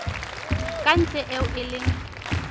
ka ntle eo e leng